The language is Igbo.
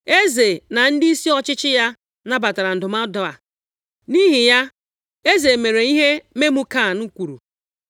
Eze na ndịisi ọchịchị ya nabatara ndụmọdụ a, nʼihi ya, eze mere ihe Memukan kwuru.